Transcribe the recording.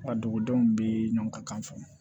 A dugudenw bɛ ɲɔgɔn ka kan fɔ